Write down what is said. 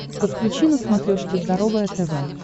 подключи на смотрешке здоровое тв